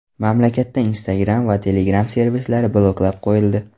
Mamlakatda Instagram va Telegram servislari bloklab qo‘yildi .